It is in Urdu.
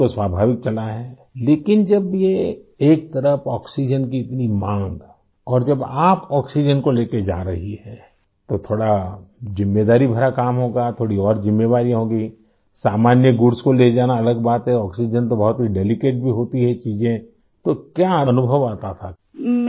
ٹرین کو چلایا ہے لیکن جب یہ ایک طرف آکسیجن کی اتنی بڑی مانگ اور جب آپ آکسیجن کو لے جارہی ہیں تو تھوڑا زیادہ ذمہ داری والا کام ہو گا ، تھوڑی زیادہ ذمہ داریاں ہوں گی؟ عام سامان کو لے جانا الگ بات ہے ، آکسیجن تو بہت نازک بھی ہوتی ہے ، یہ چیز ، تو آپ کیا محسوس کرتی ہیں ؟